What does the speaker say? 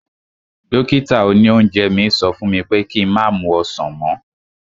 Dókítà òní oúnjẹ mi sọ fún mi pé ki má mu ọsàn mọ́